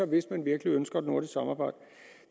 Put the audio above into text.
hvis man virkelig ønsker et nordisk samarbejde